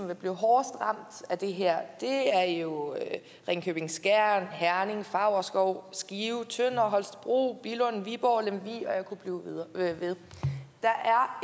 vil blive hårdest ramt af det her er jo ringkøbing skjern herning favrskov skive tønder holstebro billund viborg lemvig og jeg kunne blive ved der